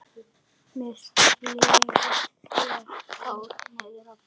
Með slegið hár niðrá brjóst.